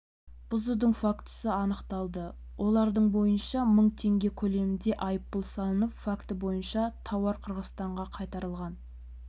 бұзудың фактісі анықталды олардың бойынша мың теңге көлемінде айыппұл салынып факті бойынша тауар қырғызстанға қайтарылған